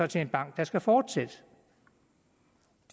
til en bank der skal fortsætte